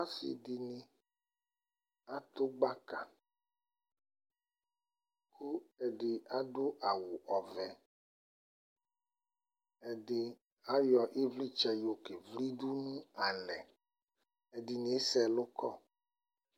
Asɩdɩnɩ adʋ gbaka : kʋ ɛdɩ adʋ awʋ ɔvɛ , ɛdɩ ayɔ ɩvlɩtsɛ yɔkevlidʋ alɛ ; ɛdɩnɩ asɛ ɛlʋ kɔ